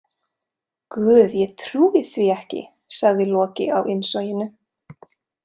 Guð, ég trúi því ekki, sagði Loki á innsoginu.